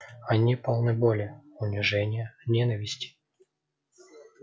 они полны боли унижения ненависти